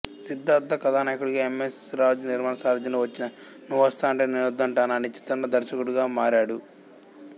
సిద్ధార్థ్ కథానాయకుడిగా M S Raju నిర్మాణ సారథ్యంలో వచ్చిన నువ్వొస్తానంటే నేనొద్దంటానా అనే చిత్రంతో దర్శకుడిగా మారాడు